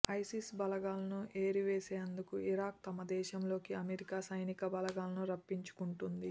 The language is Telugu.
ఐసిస్ బలగాలను ఏరివేసేందుకు ఇరాక్ తమ దేశంలోకి అమెరికా సైనికబలగాలను రప్పించుకుంది